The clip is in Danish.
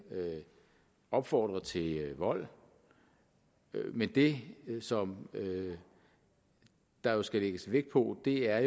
opfordrer til vold men det som der jo skal lægges vægt på er